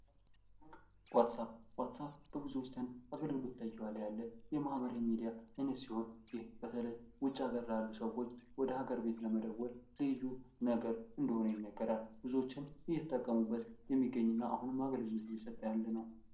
ዋትስአፕ ዋትስአፕ፦ በብዙዎች ዘንድ በብዙዎች ዘንድ አገልግሎት ላይ እየዋለ ያለ የማህበራዊ ሚዲያ አይነት ሲሆን በተለይ ውጭ ሀገር ላይ ያሉ ሰዎች ወደ ሀገር ቤት ለመደወል ልዩ ነገር እንደሆነ ይነገራል። ብዙዎች እየተጠቀሙበት የሚገኝ እና አሁንም አገልግሎት እየሰጠ ያለ ነው።